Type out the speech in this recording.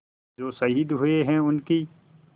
जो शहीद हुए हैं उनकी